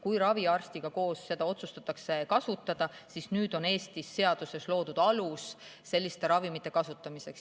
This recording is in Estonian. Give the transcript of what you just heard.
Raviarstiga koos seda otsustatakse ja nüüd on Eestis seadusega loodud alus selliste ravimite kasutamiseks.